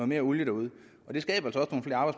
mere olie derude det skaber